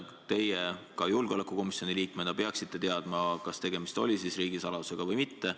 Teie julgeolekukomisjoni liikmena peaksite teadma, kas tegemist oli riigisaladusega või mitte.